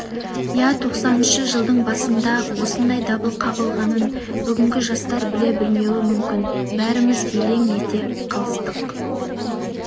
иә тоқсаныншы жылдың басында-ақ осындай дабыл қағылғанын бүгінгі жастар біле білмеуі мүмкін бәріміз елең ете қалыстық